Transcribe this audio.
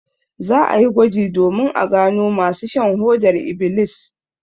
Za a yi gwaji domin a gano masu shan hodar ibilis.